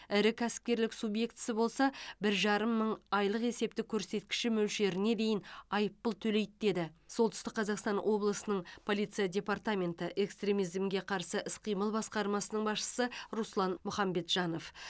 ірі кәсіпкерлік субъектісі болса бір жарым мың айлық есептік көрсеткіші мөлшеріне дейін айыппұл төлейді деді солтүстік қазақстан облысының полиция департаменті экстремизмге қарсы іс қимыл басқармасының басшысы руслан мұхамбетжанов